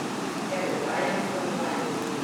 Ker oddajam stanovanje.